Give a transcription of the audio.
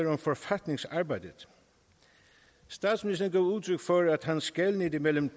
om forfatningsarbejdet statsministeren gav udtryk for at han skelnede mellem